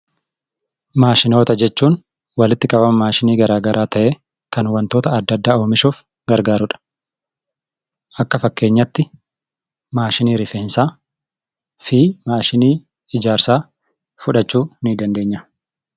Maashinoota jechuun walitti qabama maashinii garaagaraa ta'ee, kan wantoota adda addaa oomishuuf gargaaru dha. Akka fakkeenyaatti, maashinii rifeensaa fi maashinii ijaarsaa fudhachuu ni dandeenya.